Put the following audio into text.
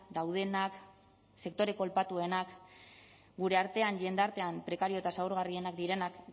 daudenak sektore kolpatuenak gure artean jendartean prekario eta zaurgarrienak direnak